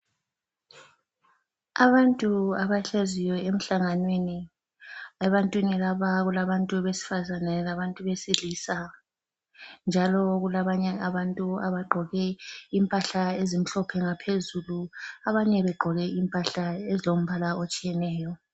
Abantu abahleziyo emhlanganweni ebantwini laba kulabantu besifazane labantu besilisa, njalo kulabanye abantu abagqoke impahla ezimhlophe ngaphezulu abanye begqoke impahla ezilombala otshiyeneyo.